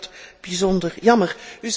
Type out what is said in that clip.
Ik vind dat bijzonder jammer.